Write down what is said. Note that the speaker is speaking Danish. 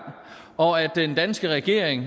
og den danske regering